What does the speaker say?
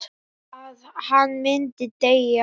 Að hann myndi deyja.